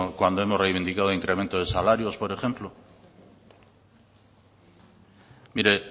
cuando hemos reivindicado el incremento de salarios por ejemplo mire